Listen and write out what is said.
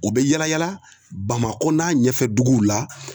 U bi yala yala Bamakɔ n'a ɲɛfɛ duguw la